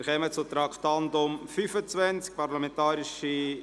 Wir kommen zum Traktandum 25: